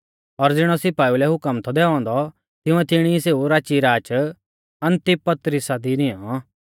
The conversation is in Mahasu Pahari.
और ज़िणौ सिपाइऊ लै हुकम थौ दैऔ औन्दौ तिंउऐ तिणी ई सेऊ राचीराच अन्तिपत्रिसा दी निऔं